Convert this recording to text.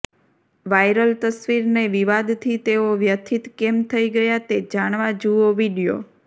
viral તસવીરને વિવાદથી તેઓ વ્યથિત કેમ થઈ ગયા તે જાણવા જુઓ વીડિયો